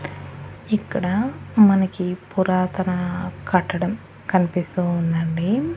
ఇక్కడ మనకి పురాతన కట్టడం కనిపిస్తూ ఉండండి.